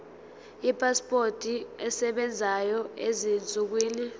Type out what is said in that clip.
ipasipoti esebenzayo ezinsukwini